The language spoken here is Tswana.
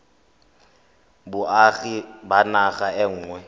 boagi ba naga e nngwe